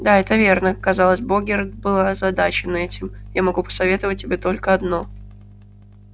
да это верно казалось богерт был озадачен этим я могу посоветовать тебе только одно